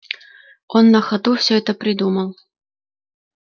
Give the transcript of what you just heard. он на ходу всё это придумал